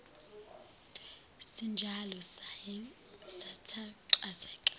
sinjalo saye sathanqazeka